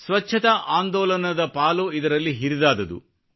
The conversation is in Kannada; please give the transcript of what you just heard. ಸ್ವಚ್ಛತಾ ಆಂದೋಲನದ ಪಾಲು ಇದರಲ್ಲಿ ಹಿರಿದಾದುದು